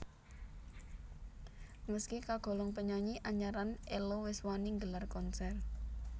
Meski kagolong penyanyi anyaran Ello wis wani nggelar konser